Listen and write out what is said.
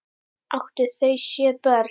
Áttu þau sjö börn.